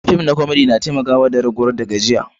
Fim na komedi na taimaka da raguwan gajiya.